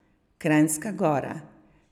Kranjska Gora.